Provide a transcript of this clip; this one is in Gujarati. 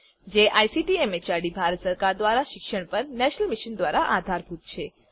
જે આઇસીટી એમએચઆરડી ભારત સરકાર દ્વારા શિક્ષણ પર નેશનલ મિશન દ્વારા આધારભૂત છે